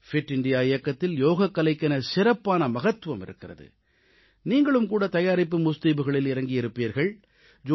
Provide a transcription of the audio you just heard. fit India இயக்கத்தில் யோகக்கலைக்கென சிறப்பான மகத்துவம் இருக்கிறது நீங்களும் கூட தயாரிப்பு முஸ்தீபுகளில் இறங்கியிருப்பீர்கள்